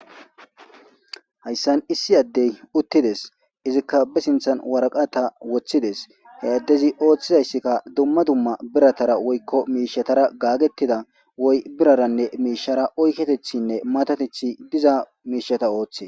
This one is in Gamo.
hayssan issi addey uttides izikka be sinthan waraqata woththides he addezi ooththizayssikka dumma dumma biratara woykko miishatara gaagettida woy biraranne miishara oyketethinne matatethi diza miishata ooththe